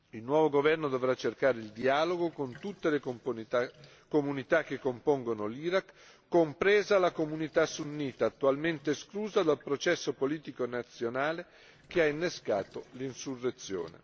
Il nuovo governo dovrà cercare il dialogo con tutte le comunità che compongono l'Iraq, compresa la comunità sunnita attualmente esclusa dal processo politico nazionale che ha innescato l'insurrezione.